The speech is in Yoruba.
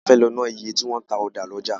A fẹ́ lọ ná iye tí wọn ń ta ọ̀dà lọ́jà.